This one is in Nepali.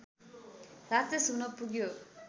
राक्षस हुन पुग्यो